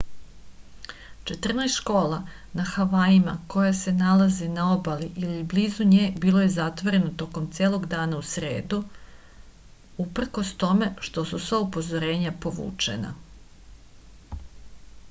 četrnaest škola na havajima koje se nalaze na obali ili blizu nje bilo je zatvoreno tokom celog dana u sredu uprkos tome što su sva upozorenja povučena